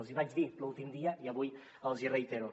els hi vaig dir l’últim dia i avui els hi reitero